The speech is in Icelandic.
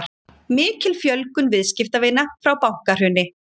Mikil fjölgun viðskiptavina frá bankahruni